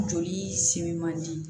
Joli simi man di